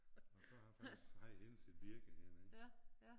Og så har han faktisk haft hele sit virke hernede